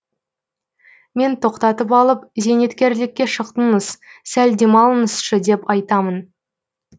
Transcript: мен тоқтатып алып зейнеткерлікке шықтыңыз сәл демалыңызшы деп айтамын